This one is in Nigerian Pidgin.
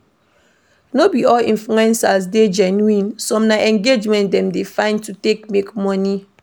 No be all influencers dey genuine, some na engagement dem dey find to take make money